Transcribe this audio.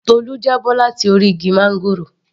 Tolu já bọ́ láti orí igi máńgòrò